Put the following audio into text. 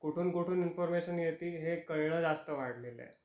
कुठून कुठून इन्फॉर्मशन येतील हे कळण जास्त वाढल आहे.